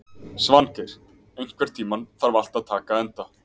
Svangeir, einhvern tímann þarf allt að taka enda.